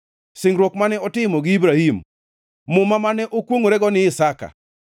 singruok mane otimo gi Ibrahim, Muma mane okwongʼorego ni Isaka.